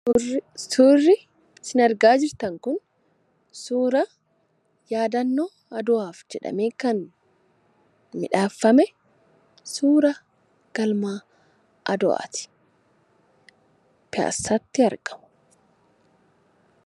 Suurri isin argaa jirtan kun suura yaadannoo adawaaf jedhanii kan miidhagfame suuraa galma adawaati. Innis piyaassaatti argama.